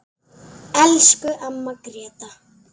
Elsku amma Gréta.